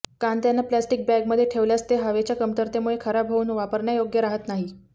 कांद्यांना plastic बॅगमध्ये ठेवल्यास ते हवेच्या कमतरतेमुळे खराब होऊन वापरण्यायोग्य राहत नाही